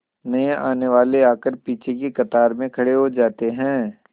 नए आने वाले आकर पीछे की कतार में खड़े हो जाते हैं